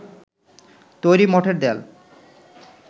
তৈরি মঠের দেয়াল